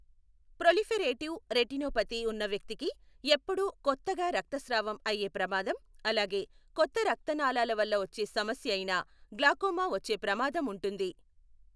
Proliferative retinopathy ఉన్న వ్యక్తికి ఎప్పుడూ కొత్తగా రక్తస్రావం అయ్యే ప్రమాదం, అలాగే కొత్త రక్తనాళాల వల్ల వచ్చే సమస్య అయిన గ్లాకోమా వచ్చే ప్రమాదం ఉంటుంది.